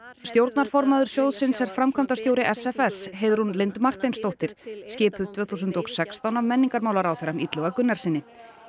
stjórnarformaður sjóðsins er framkvæmdastjóri s f s Heiðrún Lind Marteinsdóttir skipuð tvö þúsund og sextán af menningarmálaráðherra Illuga Gunnarssyni